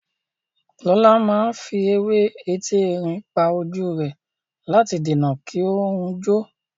Lọlá máa fi ewé etí erin pa ojú rẹ̀ láti dènà kí ó hun jọ.